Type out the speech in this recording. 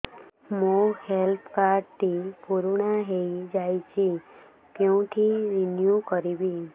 ମୋ health card ଟି ପୁରୁଣା ହେଇଯାଇଛି କେଉଁଠି ରିନିଉ କରିବି